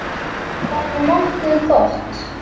Bara nokkuð gott.